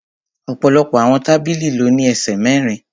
Ọ̀pọ̀lọpọ̀ àwọn tábìlì ló ní ẹsẹ̀ mẹ́rin